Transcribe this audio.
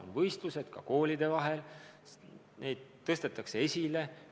On võistlused ka koolide vahel, neid tõstetakse esile.